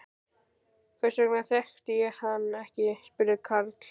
Hvers vegna þekkti ég hann ekki? spurði Karl.